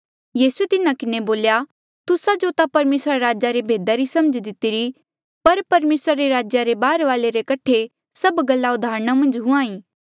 यीसूए तिन्हा किन्हें बोल्या तुस्सा जो ता परमेसरा रे राजा रे भेदा री समझ दितीरी पर परमेसरा रे राज्या रे बाहरवाले रे कठे सब गल्ला उदाहरणा मन्झ हुंहां ईं